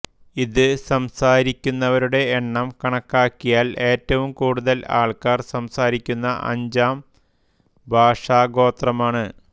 ഇത് സംസാരിക്കുന്നവരുടെ എണ്ണം കണക്കാക്കിയാൽ ഏറ്റവും കൂടുതൽ ആൾക്കാർ സംസാരിക്കുന്ന അഞ്ചാം ഭാഷാഗോത്രമാണ്